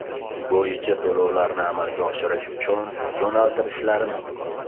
bo‘yicha to‘lovlarni amalga oshirish uchun yo‘naltirishlari mumkin.